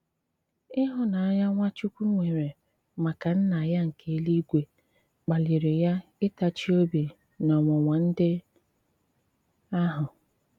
ị̀hụ̀nànyà Nwachukwu nwèrè màkà Nna ya nke èlù-ìgwè kpalìrì ya ịtàchì òbì n’ọ̀nwụ̀nwà̀ ndị̀ àhụ̀.